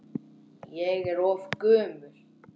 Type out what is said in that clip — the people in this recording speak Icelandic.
Ég er of gömul.